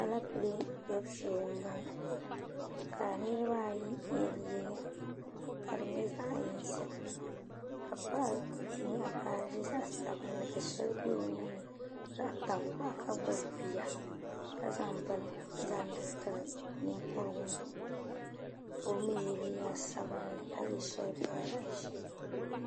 Aleepile kpɛbu shee m-bɔŋɔ ka niriba ayi ye liiga ka di nyɛ zaɣ' yinsi ka paɣa nyaɣi baaji zaɣ' sabinli ka shɛli be o nuu ni zaɣ' tankpaɣu ka gbubi bia ka zaŋ bini zaŋdi tiri ninkuru ŋɔ ka o mi ye, liiga sabinli ka ye shɛli pa zaɣ' ʒee.